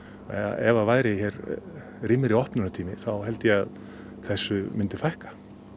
ef það væri rýmri opnunartími þá held ég að þessu myndi fækka